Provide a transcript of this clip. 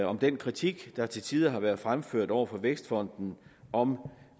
om den kritik der til tider har været fremført over for vækstfonden om